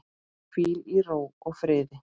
Hvíl í ró og friði.